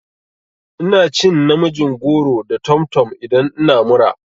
Ina cin namijin goro da tomtom idan ina mura.